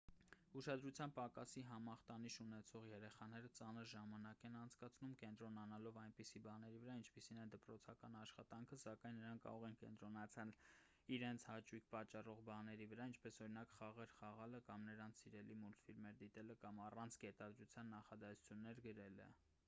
ուշադրության պակասի համախտանիշ ունեցող երեխաները ծանր ժամանակ են անցկացնում կենտրոնանալով այնպիսի բաների վրա ինչպիսին է դպրոցական աշխատանքը սակայն նրանք կարող են կենտրոնանալ իրենց հաճույք պատճառող բաների վրա ինչպես օրինակ խաղեր խաղալը կամ նրանց սիրելի մուլտֆիլմերը դիտելը կամ առանց կետադրության նախադասություններ գրելը